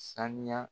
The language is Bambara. Sanuya